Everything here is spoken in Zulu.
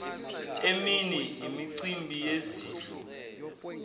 emini imicimbi yezidlo